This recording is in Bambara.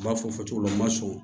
U b'a fɔ fɔ cogo la u ma sɔn